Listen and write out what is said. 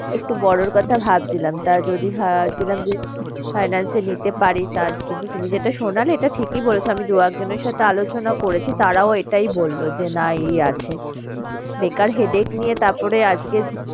একটু বড়োর কথা ভাবছিলাম। তাই যদি ভাবছিলাম যে finance এ নিতে পারি তা কিন্তু তুমি যেটা শোনালে এটা ঠিকই বলেছো আমি দু একজনের সাথে আলোচনা করেছি তারাও এটাই বললো যে না এই আছে। বেকার headache নিয়ে তারপর আজকে